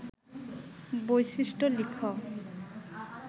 বৈশিষ্ট্য লিখ